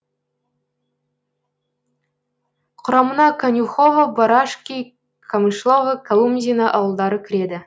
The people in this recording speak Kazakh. құрамына конюхово барашки камышлово колумзино ауылдары кіреді